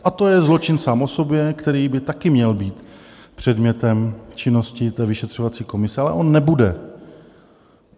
A to je zločin sám o sobě, který by také měl být předmětem činnosti té vyšetřovací komise, ale on nebude.